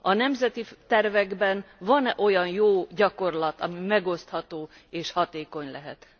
A nemzeti tervekben van e olyan jó gyakorlat, ami megosztható és hatékony lehet?